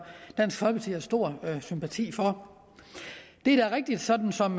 dansk folkeparti har stor sympati for det er da rigtigt sådan som